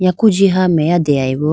yaku jiha meya deyayi bo.